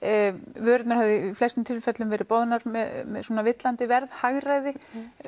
vörurnar höfðu í flestum tilfellum verið boðnar með villandi verð hagræði